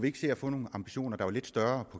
ikke se at få nogle ambitioner der var lidt større